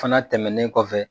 Fana tɛmɛnen kɔfɛ